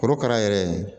Korokara yɛrɛ